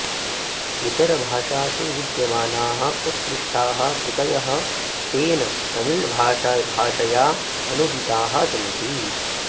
इतरभाषासु विद्यमानाः उत्कृष्ठाः कृतयः तेन तमिळ्भाषया अनूदिताः सन्ति